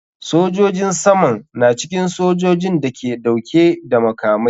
Sojojin saman na cikin sojojin da ke dauke da makamai.